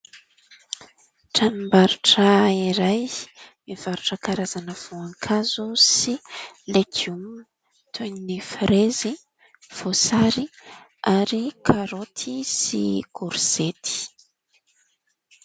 Tranom-barotra iray mivarotra karazana voankazo sy legioma toy ny : frezy, voasary ary karaoty sy korzety.